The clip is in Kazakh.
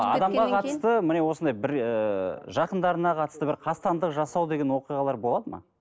адамға қатысты міне осындай бір ыыы жақындарына қатысты бір қастандық жасау деген оқиғалар болады ма